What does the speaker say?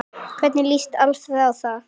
Hvernig lýst Alfreð á það?